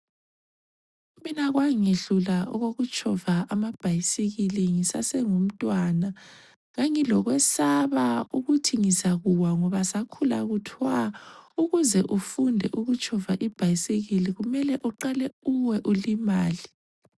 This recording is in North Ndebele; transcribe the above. Mina kwangehlula okokutshova amabhasikili ngisasengumntwana ,ngangilokwesaba ukuthi ngizakuwa ngoba sakhula kuthwa ukuze ufunde ukutshova ibhasikili kumele uqale uwe ulimale.